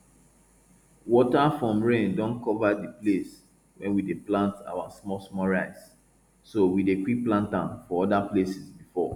water from rain don cover di place wey we dey plant our small small rice so we dey quick plant am for other places before